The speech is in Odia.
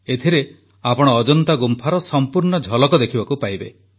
ଏଥିରେ ଆପଣ ଅଜନ୍ତା ଗୁମ୍ଫାର ସମ୍ପୂର୍ଣ୍ଣ ଝଲକ ଦେଖିବାକୁ ପାଇବେ